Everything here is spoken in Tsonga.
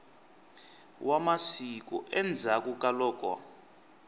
wa masiku endzhaklu ka loko